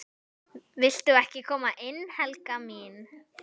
VILTU EKKI KOMA INN, HELGA MÍN!